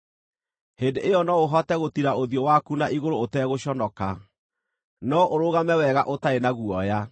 hĩndĩ ĩyo no ũhote gũtiira ũthiũ waku na igũrũ ũtegũconoka; no ũrũgame wega ũtarĩ na guoya.